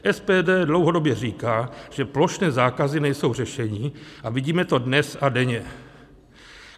SPD dlouhodobě říká, že plošné zákazy nejsou řešení, a vidíme to dnes a denně.